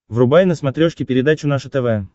врубай на смотрешке передачу наше тв